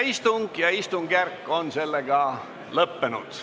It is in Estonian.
Istung ja istungjärk on lõppenud.